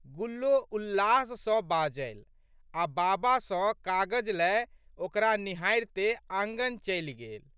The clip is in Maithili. गुल्लो उल्लास सँ बाजलि आ' बाबा सँ कागज लए ओकरा निहारिते आँगन चलि गेल।